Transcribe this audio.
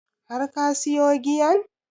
Har ka siyo giyan?